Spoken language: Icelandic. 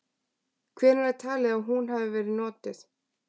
Hvenær er talið að hún hafi verið notuð?.